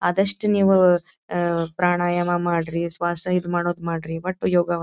ಆದಷ್ಟು ನೀವು ಪ್ರಾಣಾಯಾಮ ಮಾಡ್ರಿ ಸ್ವಾಸ ಇದ್ ಮಾಡೋದ್ ಮಾಡ್ರಿ ಒಟ್ಟು ಯೋಗ --